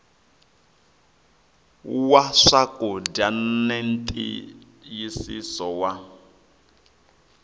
wa swakudya na ntiyisiso wa